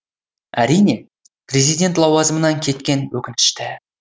әрине президент лауазымынан кеткені өкінішті